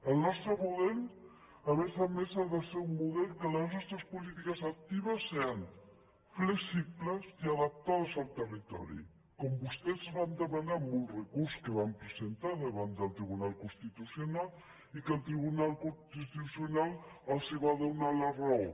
el nostre model a més a més ha de ser un model en què les nostres polítiques actives siguin flexibles i adaptades al territori com vostès ens van demanar en un recurs que van presentar davant del tribunal constitucional i que el tribunal constitucional els va donar la raó